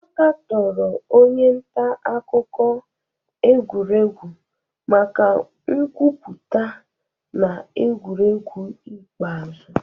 A katọrọ onye nta akụkọ egwuregwu maka nkwupụta na egwuregwu ikpeazụ